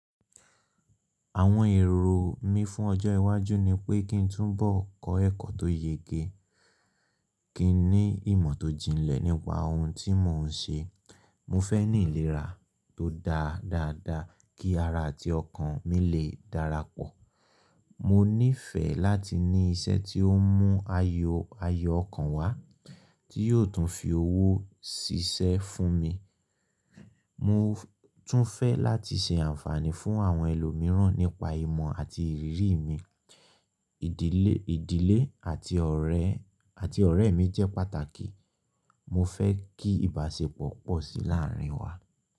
Àwọn èrò mí fún ọjọ́ iwájú ni pé kí n túbọ̀ kọ́ ẹ̀kọ́ tó yege, kí n ní ìmọ̀ tó jinlẹ̀ nípa ohun tí mò ń ṣe. Mo fẹ́ ní ìlera tó dáa dáadáa kí ara àti ọkàn mi lè darapọ̀. Mo nífẹ̀ẹ́ láti ní iṣẹ́ tí ó mú ayọ̀ ọkàn wá, tí yóò tún fi owó ṣiṣẹ́ fún mi. Mo tún fẹ́ láti ṣe àǹfààní fún àwọn ẹlòmíràn nípa ìmọ̀ àti ìrírí mi. Ìdílé àti ọ̀rẹ́ mi jẹ́ pàtàkì, mo fẹ́ kí ìbáṣepọ̀ pọ̀ sí láàárín wa.